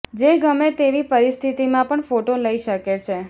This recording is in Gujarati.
જે ગમે તેવી પરિસ્થતિમાં પણ ફોટો લઇ શકે છે